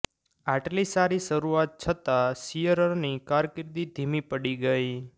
આટલી સારી શરૂઆત છતાં શીયરરની કારકિર્દી ધીમી પડી ગઇ